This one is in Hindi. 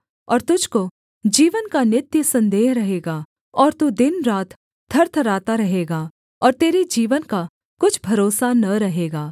और तुझको जीवन का नित्य सन्देह रहेगा और तू दिनरात थरथराता रहेगा और तेरे जीवन का कुछ भरोसा न रहेगा